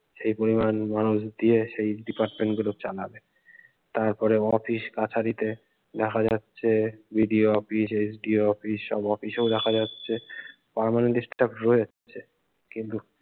সেই পরিমান মানুষ দিয়ে সেই department গুলো চালাবে। তারপরে অফিস কাচারীতে দেখা যাচ্ছে BDO অফিস SDO অফিস সব অফিসেও দেখা যাচ্ছে permanent staff রয়েছে কিন্ত